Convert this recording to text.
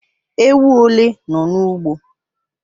Ewu ole nọ n'ugbo?